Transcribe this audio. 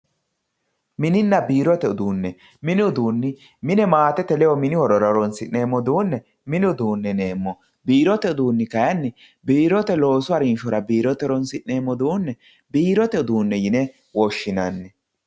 Mininna biirote uduune, mini uduune konne mine maatete ledo mini horora horonsi'neemmo uduune mini uduune yineemmo biirote uduuni kayinni biirote hajjora calla horonsi'neemmo uduune biirote uduune yine woshshinanni.